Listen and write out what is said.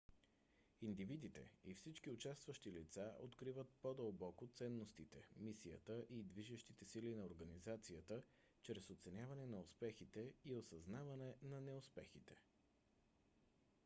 индивидите и всички участващи лица откриват по - дълбоко ценностите мисията и движещите сили на организацията чрез оценяване на успехите и осъзнаване на неуспехите